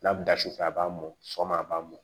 N'a bɛ da sufɛ a b'a mɔn sɔgɔma a b'a mɔ